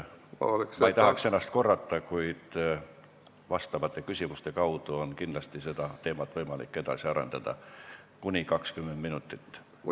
Ma ei tahaks ennast korrata, kuid küsimuste kaudu on kindlasti võimalik teemat kuni 20 minutit edasi arendada.